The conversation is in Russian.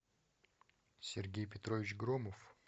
сергей петрович громов